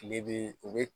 Kile bi u bi